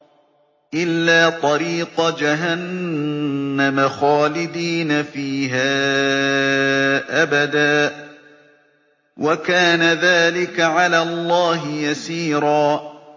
إِلَّا طَرِيقَ جَهَنَّمَ خَالِدِينَ فِيهَا أَبَدًا ۚ وَكَانَ ذَٰلِكَ عَلَى اللَّهِ يَسِيرًا